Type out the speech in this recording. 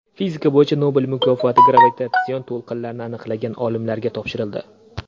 Fizika bo‘yicha Nobel mukofoti gravitatsion to‘lqinlarni aniqlagan olimlarga topshirildi.